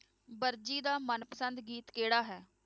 ਵਰਜੀ ਦਾ ਮਨ ਪਸੰਦ ਗੀਤ ਕਿਹੜਾ ਹੈ?